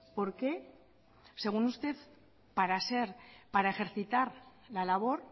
por qué según usted para ejercitar la labor